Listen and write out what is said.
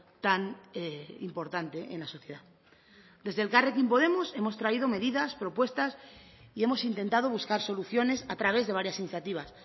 tan importante en la sociedad desde elkarrekin podemos hemos traído medidas propuestas y hemos intentado buscar soluciones a través de varias iniciativas